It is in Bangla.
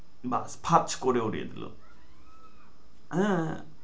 বা ভাজ করে দিয়েছ হ্যাঁ